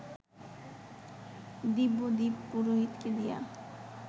দিব্যদীপ পুরোহিতকে দেয়া